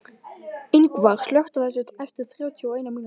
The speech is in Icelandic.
Yngvar, slökktu á þessu eftir þrjátíu og eina mínútur.